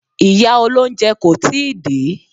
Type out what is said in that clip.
Ìyá olóúnjẹ kò tíì dé.